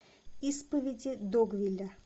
исповеди догвилля